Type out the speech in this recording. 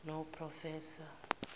noprofessor